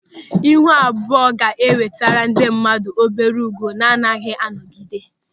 Ịhụ abụọ ga-enwetere ndị mmadụ obere ùgwù na-agaghị anọgide.